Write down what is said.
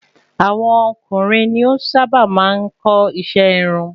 Àwọn ọkùnrin ni o sá bà maá n kọ́ iṣẹ irun